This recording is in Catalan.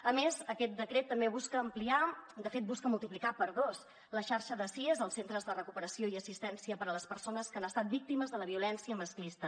a més aquest decret també busca ampliar de fet busca multiplicar per dos la xarxa de sies els centres de recuperació i assistència per a les persones que han estat víctimes de la violència masclista